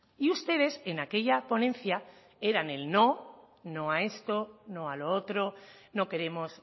y ustedes en aquella ponencia eran el no no a esto no a lo otro no queremos